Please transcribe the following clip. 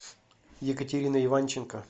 екатерина иванченко